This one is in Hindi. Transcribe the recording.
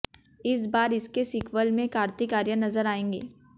इस बार इसके सीक्वल में कार्तिक आर्यन नजर आएंगे